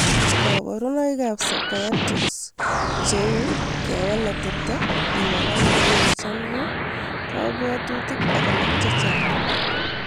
Psychiatric symptoms cheu kewal atepto, iwalake kou ole cham iu, kabwatutik ak alak chechang'